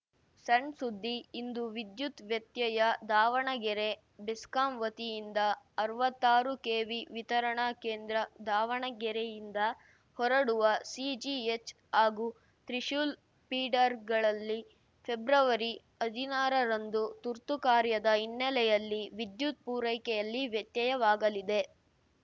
ಸಣ್‌ ಸುದ್ದಿ ಇಂದು ವಿದ್ಯುತ್‌ ವ್ಯತ್ಯಯ ದಾವಣಗೆರೆ ಬೆಸ್ಕಾಂ ವತಿಯಿಂದ ಅರ್ವತ್ತಾರು ಕೆವಿ ವಿತರಣಾ ಕೇಂದ್ರ ದಾವಣಗೆರೆಯಿಂದ ಹೊರಡುವ ಸಿಜಿಎಚ್‌ ಹಾಗೂ ತ್ರಿಶೂಲ್‌ ಫೀಡರ್‌ಗಳಲ್ಲಿ ಪೆಬ್ರವರಿ ಹದಿನಾರ ರಂದು ತುರ್ತು ಕಾರ್ಯದ ಹಿನ್ನಲೆಯಲ್ಲಿ ವಿದ್ಯುತ್‌ ಪೂರೈಕೆಯಲ್ಲಿ ವ್ಯತ್ಯಯವಾಗಲಿದೆ